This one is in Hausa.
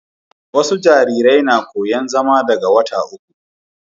wasu jarirai na koyan zama daga wata uku